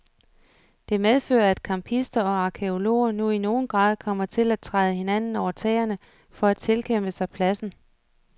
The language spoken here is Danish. Det medfører at campister og arkæologer nu i nogen grad kommer til at træde hinanden over tæerne for at tilkæmpe sig pladsen.